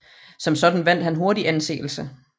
Som sådan vandt han hurtig anseelse